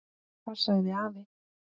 Það sagði afi.